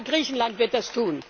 Ich hoffe, Griechenland wird das